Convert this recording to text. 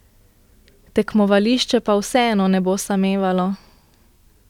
Tekmovališče pa vseeno ne bo samevalo.